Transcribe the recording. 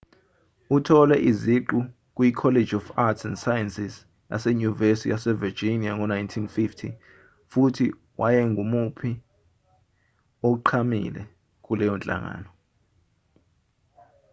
uthole iziqu kuyicollege of arts & sciences yasenyuvesi yasevirginia ngo-1950 futhi wayengumuphi oqhamile kuleyo nhlangano